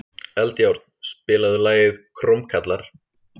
Eldjárn, spilaðu lagið „Krómkallar“.